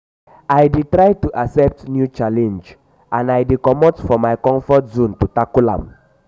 i dey try to accept new challenge and i dey comot from my comfort zone to tackle am.